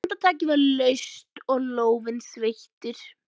En handtakið var laust og lófinn sveittur.